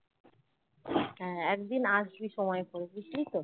হ্যাঁ একদিন আসবি সময় করে বুঝলি তো